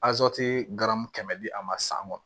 kɛmɛ di a ma san kɔnɔ